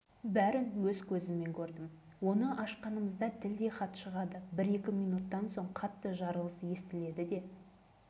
сәлден кейін олар бомбаны тастай салып өздері желге қарсы зулай көтеріліп әп-сәтте көзден жоғалатын